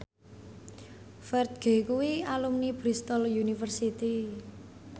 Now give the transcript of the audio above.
Ferdge kuwi alumni Bristol university